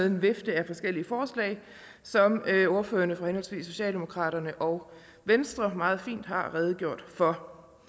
en vifte af forskellige forslag som ordførerne for henholdsvis socialdemokratiet og venstre meget fint har redegjort for